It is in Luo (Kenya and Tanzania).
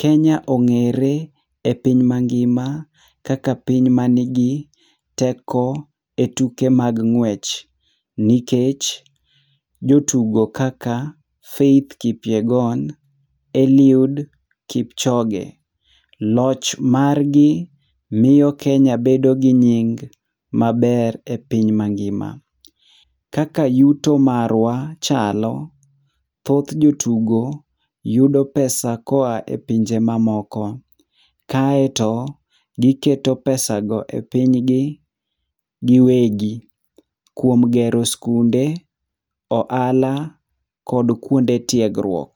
Kenya ong'ere epiny mangima kaka piny manigi teko e tuke mag ng'wech nikech jotugo kaka Faith Kipyegon, Eliud Kipchoge. Loch margi miyo Kenya bedo gi nying maber epiny mangima. Kaka yuto marwa chalo, thoth jotugo yudo pesa koa e pinje mamoko. Kaeto, giketo pesago e pinygi gi, giwegi kuom gero sikunde, ohala kod kuonde tiegruok.